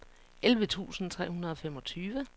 elleve tusind tre hundrede og femogtyve